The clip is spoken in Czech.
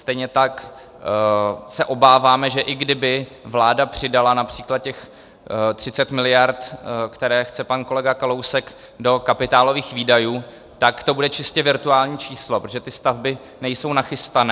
Stejně tak se obáváme, že i kdyby vláda přidala například těch 30 miliard, které chce pan kolega Kalousek, do kapitálových výdajů, tak to bude čistě virtuální číslo, protože ty stavby nejsou nachystané.